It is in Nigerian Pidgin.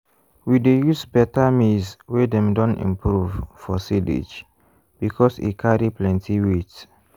we dey use better maize wey dem don improve for silage because e carry plenty weight.